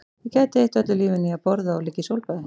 Ég gæti eytt öllu lífinu í að borða og liggja í sólbaði